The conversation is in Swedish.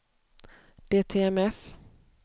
DTMF